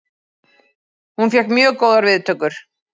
Hún fékk mjög góðar viðtökur